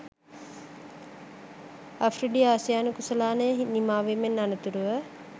අෆ්රිඩි ආසියානු කුසලානය නිමාවීමෙන් අනතුරුව